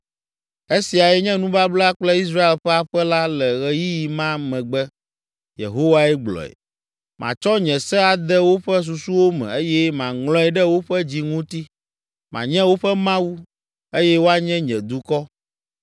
“Esiae nye nubabla kple Israel ƒe aƒe la le ɣeyiɣi ma megbe,” Yehowae gblɔe. “Matsɔ nye se ade woƒe susuwo me eye maŋlɔe ɖe woƒe dzi ŋuti. Manye woƒe Mawu, eye woanye nye dukɔ.